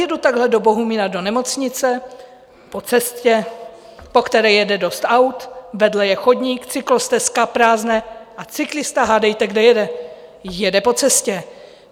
Jedu takhle do Bohumína do nemocnice po cestě, po které jede dost aut, vedle je chodník, cyklostezka, prázdná, a cyklista - hádejte, kde jede - jede po cestě.